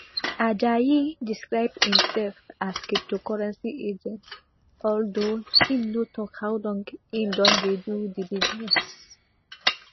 ajayi describe imsef as cryptocurrency agent although im no tok how long im don dey do di business